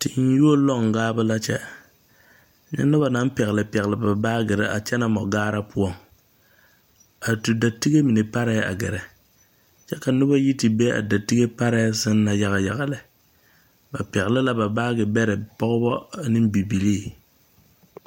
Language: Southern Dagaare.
Tenyuo loɔ̃ gaabo la kyɛre, nyɛ noba naŋ pɛgele pɛgele ba baagere a kyɛnɛ mɔgaara poɔ, a tu datige mine parɛɛ a gɛrɛ. Kyɛ ka noba yi te be a datige parɛɛ seŋ na yaga yaga lɛ, ba pɛgele la ba baagebɛrɛ pɔgebɔ ane bibilike.